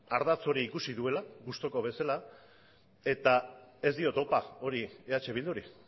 ardatz hori ikusi duela gustuko bezala eta ez diot opa hori eh bilduri